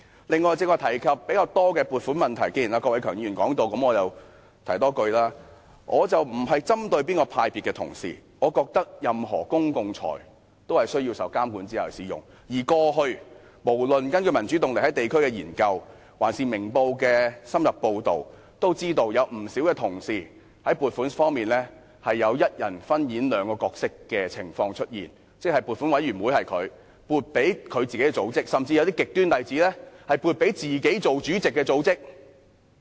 此外，剛才大家較多提及撥款的問題，既然郭偉强議員也曾談及，我也想說說，我並非針對哪個派別的同事，我認為任何公共財政均需要在受監管之下使用，而過去無論根據民主動力在地區的研究，還是《明報》的深入報道，我們也知道有不少同事在撥款方面有一人分演兩個角色的情況出現，即他本身是撥款委員會委員，並且撥款給自己的組織，甚至有些極端的例子是撥款給自己擔任主席的組織。